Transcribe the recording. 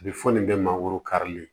A bɛ fɔ nin bɛɛ mangoro karili